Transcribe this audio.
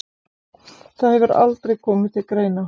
Það hefur aldrei komið til greina.